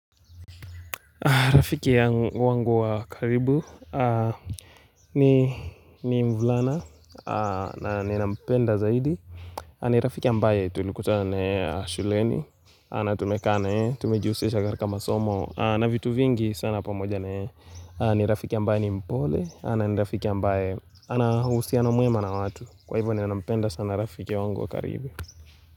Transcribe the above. Rafiki yangu wangu wa karibu ni mvulana na ninampenda zaidi ni rafiki ambaye tulikutana na yeye shuleni na tumekaa na yeye, tumejihusisha katika masomo na vitu vingi sana pamoja na yeye ni rafiki ambaye ni mpole na ni rafiki ambaye ana uhusiano mwema na watu Kwa hivyo ninampenda sana rafiki ya wangu wa karibu.